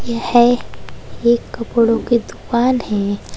यह एक कपड़ों की दुकान है।